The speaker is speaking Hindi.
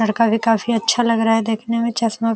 लड़का भी काफी अच्छा लग रहा है देखने में। चश्मा --